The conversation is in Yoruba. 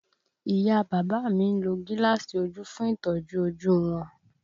Ìyá a bàbá mi ń lo gíláàsì ojú fún ìtọ́jú ojú wọn